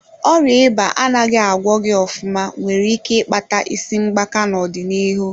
Ọrịa ịba anaghị agwọghị ofụma nwere ike ịkpata isi gbaka n'ọdịnihu.